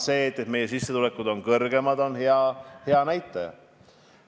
See, et meie sissetulekud on kõrgemad, on hea näitaja.